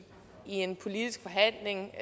en politisk forhandling